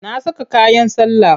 Na saka kayan sallah.